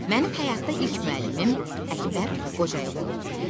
Mənim həyatda ilk müəllimim Əkbər Qocayev olub.